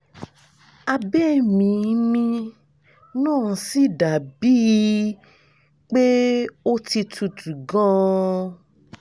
abẹ́ mi mi náà sì dà bíi pé ó ti tútù gan-an